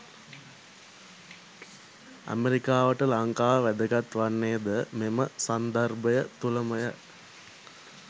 ඇමරිකාවට ලංකාව වැදගත් වන්නේ ද මෙම සන්දර්භය තුළමය.